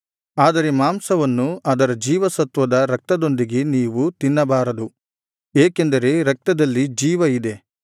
ಆದರೆ ಮಾಂಸವನ್ನು ಅದರ ಜೀವಸತ್ವವಾದ ರಕ್ತದೊಂದಿಗೆ ನೀವು ತಿನ್ನಬಾರದು ಏಕೆಂದರೆ ರಕ್ತದಲ್ಲಿ ಜೀವ ಇದೆ